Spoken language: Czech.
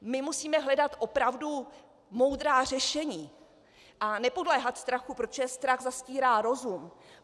My musíme hledat opravdu moudrá řešení a nepodléhat strachu, protože strach zastírá rozum.